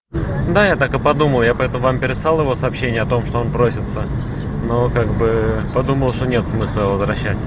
да я так и подумал я поэтому вам переслал его сообщение о том что он просится но как бы подумал что нет смысла его возвращать